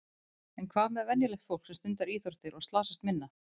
En hvað með venjulegt fólk sem stundar íþróttir og slasast minna?